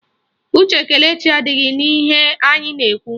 Uche Kelechi adịghị n'ihe anyị na-ekwu